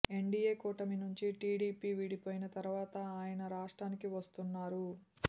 NDA కూటమి నుంచి TDP విడిపోయిన తరువాత ఆయన రాష్ట్రానికి వస్తున్నారు